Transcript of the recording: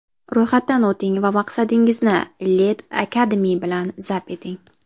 Ro‘yxatdan o‘ting va maqsadingizni Lead Academy bilan zabt eting!